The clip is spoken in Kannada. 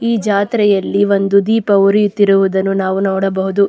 ಈ ಜಾತ್ರೆಯಲ್ಲಿ ಒಂದು ದೀಪ ಉರಿಯುತ್ತಿರುವುದನ್ನು ನಾವು ನೋಡಬಹುದು.